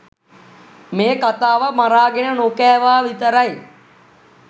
මේ කතාව මරාගෙන නොකෑවා විතරයි.